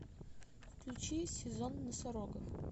включи сезон носорогов